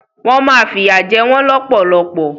Wọn má fi ìyà jẹ wọn lọpọlọpọ.